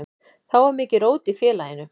Þá var mikið rót í félaginu.